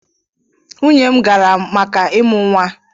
Nwunye m gara maka ịmụ nwa.